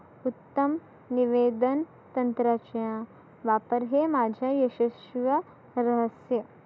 उत्तम निवेदन तंत्राच्या वापर हे माझ्या यशस्वीव्य रहस्य.